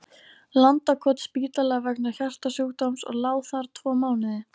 Landakotsspítala vegna hjartasjúkdóms og lá þar tvo mánuði.